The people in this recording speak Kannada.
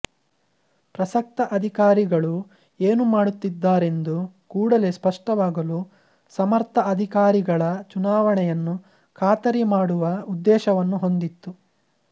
ಪ್ರಸಕ್ತ ಅಧಿಕಾರಿಗಳು ಏನು ಮಾಡುತ್ತಿದ್ದಾರೆಂದು ಕೂಡಲೇ ಸ್ಪಷ್ಟವಾಗಲು ಸಮರ್ಥ ಅಧಿಕಾರಿಗಳ ಚುನಾವಣೆಯನ್ನು ಖಾತರಿ ಮಾಡುವ ಉದ್ದೇಶವನ್ನು ಹೊಂದಿತ್ತು